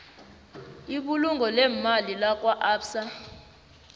ibulungo leemali lakwaabsa